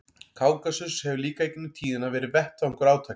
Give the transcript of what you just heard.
Kákasus hefur líka í gegnum tíðina verið vettvangur átaka.